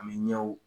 Ani ɲɛw